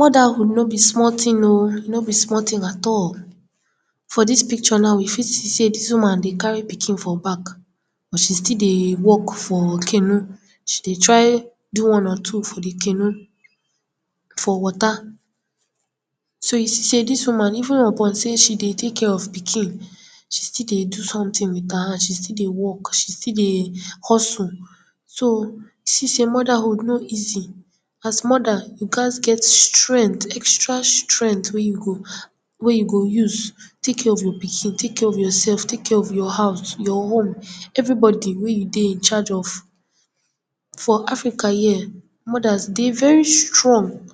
Modahood no be small tin o, no be small tin at all. For dis picture na we fit see sey dis woman dey carry pikin for back, but she still dey work for canoe. She dey try do one or two for di canoe, for water. So, you see sey dis woman, even upon sey she dey take care of pikin, she still dey do sometin wit her hand, she still dey work, she still dey hustle. So, you see sey modahood no easy. As moda, you gats get strengt, extra strengt wey you go, wey you go use take care of your pikin, take care of yourself, take care of your house, your home, everybody wey you dey in charge of. For Africa here, modas dey very strong,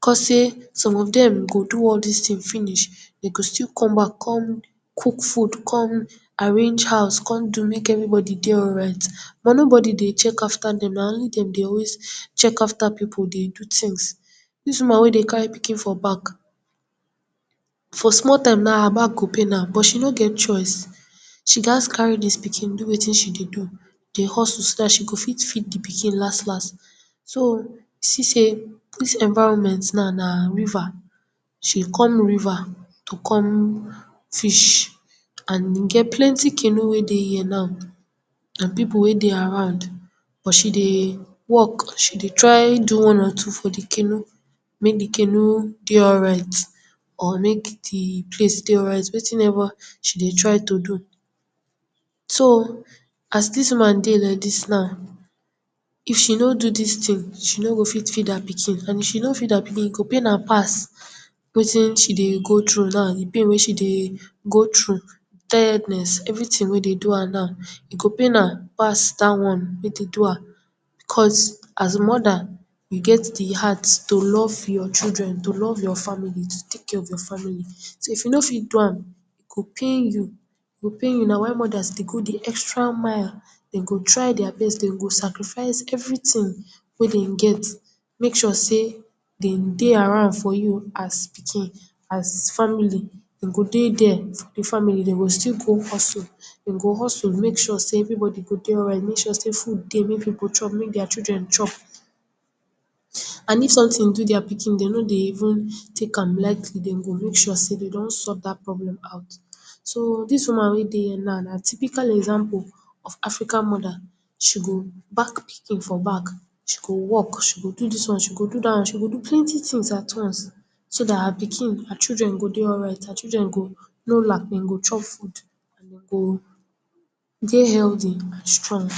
cos sey some of dem go do all dis tin finish, den go still come back kon cook food, kon arrange house, kon do mek everybody dey alright. But, nobody dey check after dem, na only dem dey always check after pipu, dey do tins. Dis woman wey dey carry pikin for back, for small time na, her back go pain am, but she no get choice, she gat carry dis pikin do wetin she dey do, dey hustle so dat she go fit feed di pikin las las. So, see sey dis environment na, na river, she come river to come fish and e get plenty canoe wey dey here now and pipu wey dey around, but she dey work she dey try do one or two for di canoe, mek di canoe dey alright or mek di place dey alright, wetin ever she dey try to do. So, as dis woman dey like dis now, if she no do dis tin, she no go fit feed her pikin and if she no feed her pikin, e go pain her pass wetin she dey go trough now, di pain wey she dey go trough, tiredness, everytin wey dey do her now, e go pain an pass dat one wey dey do her. Because, as moda, you get di heart to love your children, to love your family, to take care of your family. So, if you no fit do am, e go pain you, e go pain you, na why modas dey go di extra mile, den go try dia best, den go sacrifice everytin wey dem get, make sure sey den dey around for you as pikin, as family, den go dey der for di family, den go still go hustle, den go hustle, make sure sey everybody go dey alright, make sure sey food dey mey pipu chop, mek dia children chop. And if sometin do dia pikin den no dey even take am lightly, den go make sure den don sought dat problem out. So, dis woman wey dey here na, na typical example of Africa moda, she go back pikin for back, she go work, she go do dis one, she go do dat one, she go do plenty tins at once, so dat her pikin, her children go dey alright, her children go, no lacking, go chop food, go dey healthy and strong.